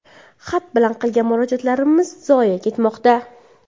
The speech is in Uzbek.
Xat bilan qilgan murojaatlarimiz zoye ketmoqda.